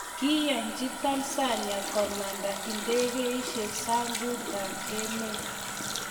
kiiyanji Tanzania komanda ndegeisiek sangutab emet